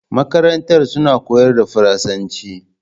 Makarantar suna koyar da faransan ci